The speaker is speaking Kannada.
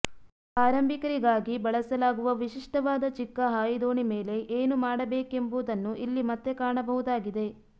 ಆರಂಭಿಕರಿಗಾಗಿ ಬಳಸಲಾಗುವ ವಿಶಿಷ್ಟವಾದ ಚಿಕ್ಕ ಹಾಯಿದೋಣಿ ಮೇಲೆ ಏನು ಮಾಡಬೇಕೆಂಬುದನ್ನು ಇಲ್ಲಿ ಮತ್ತೆ ಕಾಣಬಹುದಾಗಿದೆ